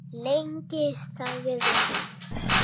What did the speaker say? Lengi? sagði hann.